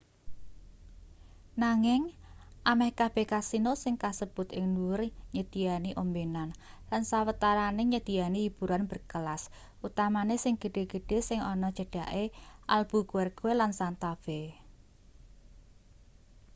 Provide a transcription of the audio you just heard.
nanging ameh kabeh kasino sing kasebut ing dhuwur nyediyani ombenan lan sawetarane nyediyani hiburan berkelas utamane sing gedhe-gedhe sing ana cedhake albuquerque lan santa fe